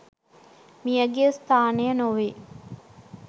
මියගිය ස්ථානය නොවේ